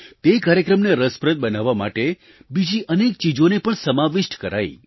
તે કાર્યક્રમને રસપ્રદ બનાવવા માટે બીજી અનેક ચીજોને પણ સમાવિષ્ટ કરાઈ